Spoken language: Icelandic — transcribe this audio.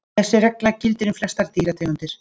Þessi regla gildir um flestar dýrategundir.